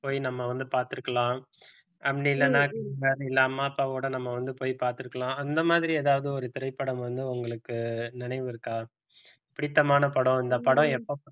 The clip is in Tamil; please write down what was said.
போய் நம்ம வந்து பார்த்திருக்கலாம் அப்படி இல்லைன்னா வேற இல்லனா அம்மா அப்பாவோட நம்ம வந்து போய் பார்த்திருக்கலாம் அந்த மாதிரி ஏதாவது ஒரு திரைப்படம் வந்து உங்களுக்கு நினைவு இருக்கா பிடித்தமான படம் இந்த படம் எப்ப~